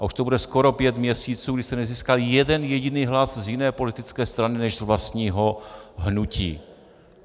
A už to bude skoro pět měsíců, kdy jste nezískal jeden jediný hlas z jiné politické strany než z vlastního hnutí.